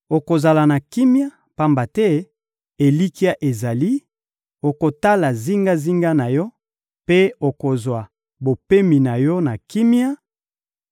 Okozala na kimia, pamba te elikya ezali, okotala zingazinga na yo mpe okozwa bopemi na yo na kimia,